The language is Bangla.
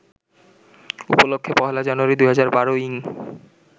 উপলক্ষ্যে ১লা জানুয়ারি, ২০১২ ইং